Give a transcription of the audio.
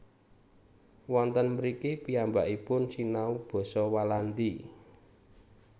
Wonten mriki piyambakipun sinau basa Walandi